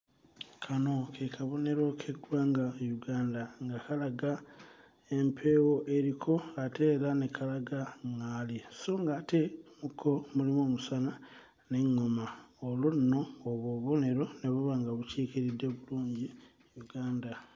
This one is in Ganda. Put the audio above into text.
Kano ke kabonero k'eggwanga Uganda nga kalaga empeewo eriko ate era ne kalaga ᵑᵑaali so ng'ate mu ko mulimu omusana n'eᵑᵑoma olwo nno obwo obubonero ne buba nga bukiikiridde bulungi Uganda.